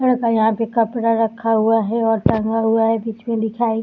ये तो यहाँ पे कपड़ा रखा हुआ है और टांगा हुआ है। बीच में लिखा है --